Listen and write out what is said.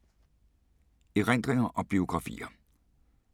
Erindringer og biografier